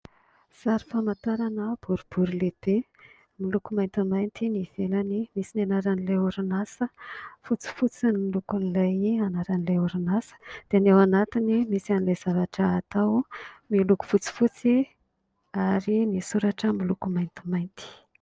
Sary famantarana boribory lehibe miloko maintimainty ny ivelany misy anaran'ilay orinasa , fotsifotsy no lokony ilay anaran'ilay orinasa dia ny ao anatiny dia misy ilay zavatra atao miloko fotsifotsy ary ny soratra miloko maintimainty.